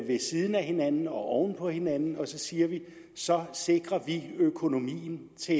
ved siden af hinanden og oven på hinanden og så siger vi så sikrer vi økonomien til